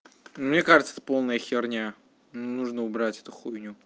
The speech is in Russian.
мне кажется это полная херня нужно убрать эту хуйню